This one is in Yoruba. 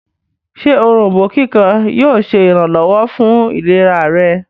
ṣe Òrombó kíkan yóò ṣe iranlọwọ fún ìlera rẹ̀?